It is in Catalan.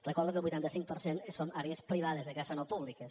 recordo que el vuitanta cinc per cent són àrees privades de caça no públiques